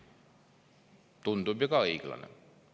Tundub ju ka õiglane.